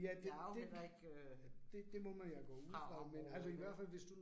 Jeg er jo heller ikke øh fra området her